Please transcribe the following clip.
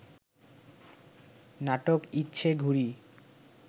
নাটক ইচ্ছেঘুড়ি